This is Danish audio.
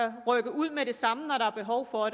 rykke ud med det samme når der er behov for